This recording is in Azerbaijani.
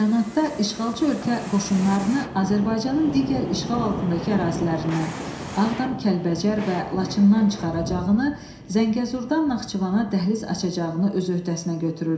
Bəyanatda işğalçı ölkə qoşunlarını Azərbaycanın digər işğal altındakı ərazilərindən, Ağdam, Kəlbəcər və Laçından çıxaracağını, Zəngəzurdan Naxçıvana dəhliz açacağını öz öhdəsinə götürürdü.